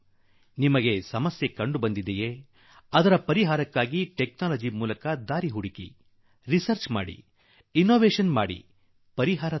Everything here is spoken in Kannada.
ನಿಮಗೆ ಯಾವುದಾದರೂ ಸಮಸ್ಯೆ ಎದುರಾದರೆ ಅದಕ್ಕೆ ಪರಿಹಾರವನ್ನು ತಂತ್ರಜ್ಞಾನದ ಮೂಲಕ ಪತ್ತೆ ಮಾಡಿ ಸಂಶೋಧನೆ ಮಾಡಿ ಅನ್ವೇಷಣೆ ಮಾಡಿ ಮತ್ತು ಅವನ್ನು ಮುಂದಿಡಿ